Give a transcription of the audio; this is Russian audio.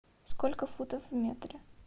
сколько футов в метре